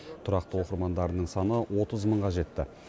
тұрақты оқырмандарының саны отыз мыңға жетті